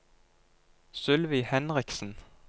Sylvi Henriksen